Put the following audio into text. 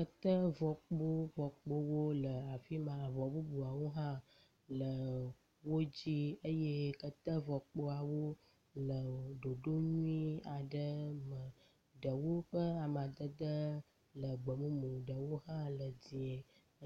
Kete vɔkpo vɔkpowo le afi ma, avɔ bubuawo hã le wo dzi eye kete vɔkpoawo le ɖoɖo nyui aɖe me. Ɖewo ƒe amadede le gbemumu, ɖewo hã le dzɛ̃e